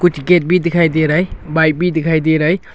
Gate भी दिखाई दे रहा है बाइक भी दिखाई दे रहा है।